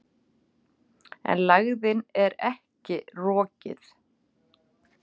En lægðin er ekki rokið.